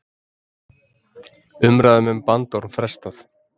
Umræðum um bandorm frestað